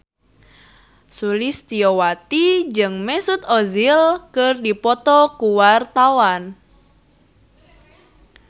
Sulistyowati jeung Mesut Ozil keur dipoto ku wartawan